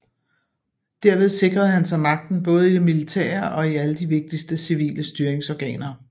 Derved sikrede han sig magten både i det militære og i alle de vigtigste civile styringsorganer